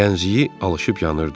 Gəncliyi alışıb yanırdı.